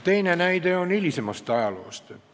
Teine näide on hilisemast ajaloost.